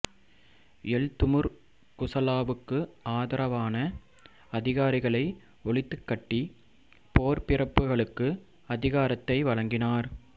L Temur குசலாவுக்கு ஆதரவான அதிகாரிகளை ஒழித்துக்கட்டி போர்ப்பிரபுகளுக்கு அதிகாரத்தை வழங்கினார்